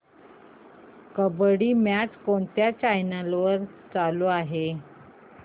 kabaddi match कोणत्या channel वर चालू आहे